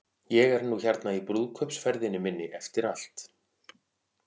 Ég er nú hérna í brúðkaupsferðinni minni eftir allt.